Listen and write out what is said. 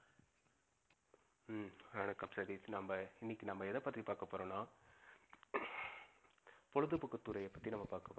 உம் வணக்கம் பிரதீப். நம்ப இனிக்கி நம்ப, எத பத்தி பகபோறோம் நா, பொழுதுபோக்கு துறைய பத்தி நம்ப பாக்க